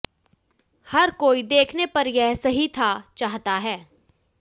हर कोई देखने पर यह सही था चाहता है